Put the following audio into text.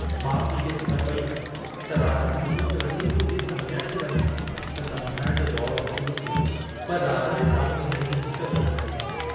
माउ पीउ खे ख़बर पेई त राधा मोनूअ खे वठी मुरलीअ सां मिलण थी वञे त समुझाइण जो दौर शुरू थी वियो, पर राधा जे साम्हूं हिननि जी हिक बि न हली।